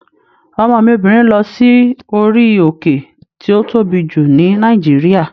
Ọmọ mi obìnrin lọ sí orí òkè tí ó tóbi jù ní Nàìjíríà